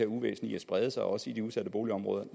uvæsen i at sprede sig også i de udsatte boligområder